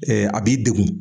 a b'i degun.